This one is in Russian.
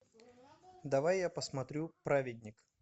давай я посмотрю праведник